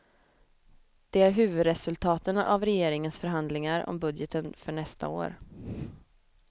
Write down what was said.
Det är huvudresultaten av regeringens förhandlingar om budgeten för nästa år.